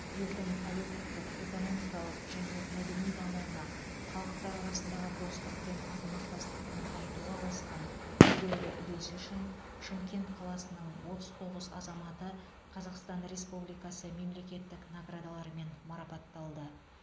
елдің әлеуметтік экономикалық және мәдени дамуына халықтар арасындағы достық пен ынтымақтастықты нығайтуға қосқан елеулі үлесі үшін шымкент қаласының отыз тоғыз азаматы қазақстан республикасы мемлекеттік наградаларымен марапатталды